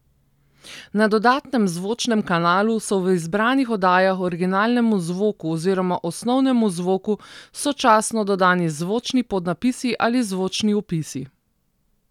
Na dodatnem zvočnem kanalu so v izbranih oddajah originalnemu zvoku oziroma osnovnemu zvoku sočasno dodani zvočni podnapisi ali zvočni opisi.